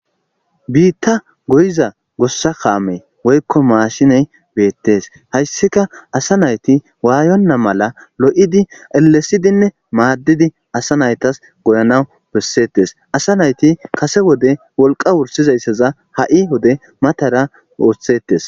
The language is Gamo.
biitta goyiza gossakaamey woykko maashiney beettes hayssika asa nayti waayonna mala lo7idi elesidinne maaddidi asa naytas goyanawu bessettes asa nayti kase wode wolqa wursizayssaza ha7i wode matara oothshetes